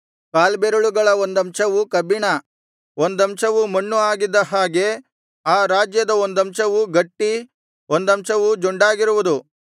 ಕಾಲ್ಬೆರಳುಗಳ ಒಂದಂಶವು ಕಬ್ಬಿಣ ಒಂದಂಶವು ಮಣ್ಣು ಆಗಿದ್ದ ಹಾಗೆ ಆ ರಾಜ್ಯದ ಒಂದಂಶವು ಗಟ್ಟಿ ಒಂದಂಶವು ಜೊಂಡಾಗಿರುವುದು